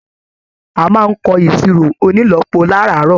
A máa n kọ iṣiro ònílọ́po láràárọ̀.